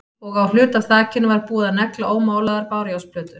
Og á hluta af þakinu var búið að negla ómálaðar bárujárnsplötur.